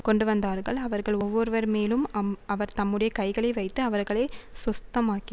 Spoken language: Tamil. கொண்டுவந்தார்கள் அவர்கள் ஒவ்வொருவர்மேலும் அம் அவர் தம்முடைய கைகளை வைத்து அவர்களை சொஸ்தமாக்கி